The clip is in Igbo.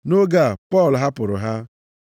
Nʼoge a, Pọl hapụrụ ha.